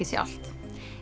sjálft